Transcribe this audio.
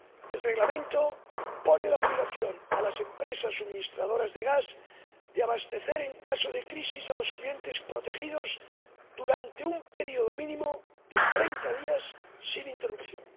El Reglamento impone la obligación a las empresas suministradoras de gas de abastecer en caso de crisis a los clientes protegidos durante un período mínimo de treinta días sin interrupción.